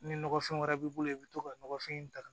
Ni nɔgɔfɛn wɛrɛ b'i bolo i bɛ to ka nɔgɔfin in ta